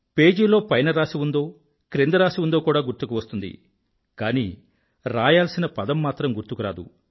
పేజీలో పైన రాసి ఉందో క్రింద రాసి ఉందో కూడా గుర్తుకువస్తుంది కానీ రాయాల్సిన పదం మాత్రం గుర్తుకురాదు